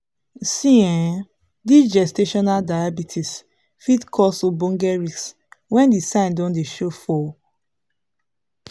see[um]this gestational diabetes fit cause ogboge risks when the sign don dey show for pause